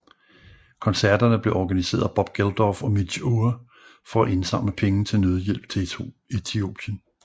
Koncerterne blev organiseret af Bob Geldof og Midge Ure for at indsamle penge til nødhjælp til Etiopien